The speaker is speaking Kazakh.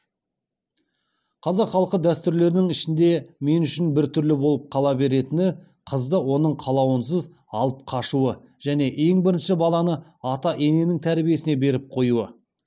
қазақ халқы дәстүрлерінің ішінде мен үшін біртүрлі болып қала беретіні қызды оның қалауынысыз алып қашуы және ең бірінші баланы ата ененің тәрбиесіне беріп қоюы